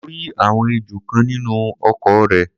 mo rí àwọn ejò kan nínú oko rẹ̀.